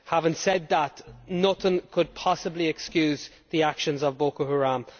Having said that, nothing could possible excuse the actions of Boko Haram.